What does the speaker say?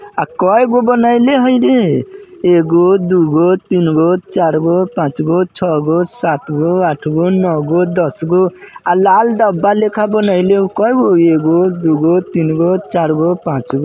अ कईगो बनेले हई रे एगो दुगो तीनगो चारगो पाँचगो छगो सातगो आठगो नोगो दसगो अ लाल डब्बा लाईखे बनाईले कएगो एगो दुगो तीनगो चारगो पाँचगो ।